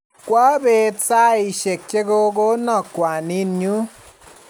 kwa peet saishek che ko kona kwaninyu